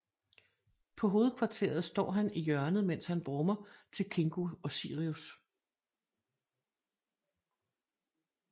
På Hovedkvarteret står han i hjørnet mens han brummer til Kingo og Sirius